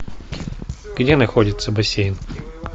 где находится бассейн